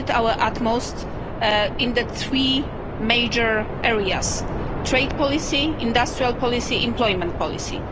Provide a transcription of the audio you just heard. We did our utmost in the three major areas trade policy, industrial policy and employment policy.